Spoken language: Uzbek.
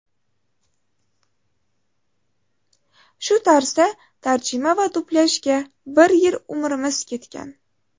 Shu tarzda tarjima va dublyajga bir yil umrimiz ketgan.